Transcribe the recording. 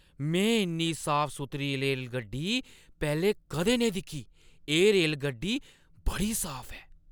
मैं इन्नी साफ-सुथरी रेलगड्डी पैह्‌लें कदें नेईं दिक्खी ! एह् रेलगड्डी बड़ी साफ ऐ!